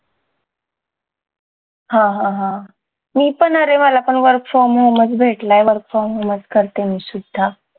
हा हा हा मी पण अरे मला पण work from home भेटलाय work from home चं करतीये मी सुद्धा